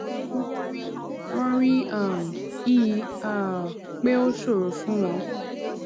wón rí wón rí um i um pé ó ṣòro fún wọn